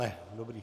Ne, dobře.